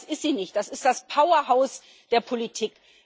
Aber das ist sie nicht, das ist das Powerhaus der Politik.